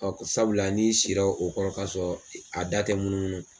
ko sabula ni i sira o kɔnɔ k'a sɔrɔ a da tɛ munu munu